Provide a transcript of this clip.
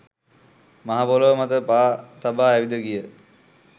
මහ පොළොව මත පා තබා ඇවිද ගිය